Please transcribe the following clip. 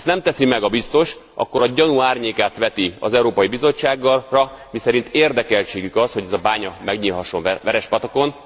Ha ezt nem teszi meg a Biztos, akkor a gyanú árnyékát veti az Európai Bizottságra, miszerint érdekeltségük az, hogy ez a bánya megnyílhasson Verespatakon.